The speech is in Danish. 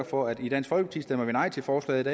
for at i dansk folkeparti stemmer vi nej til forslaget